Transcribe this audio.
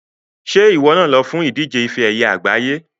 Ṣé ìwọ náà lọ fún ìdíje ife ẹyẹ àgbáyé?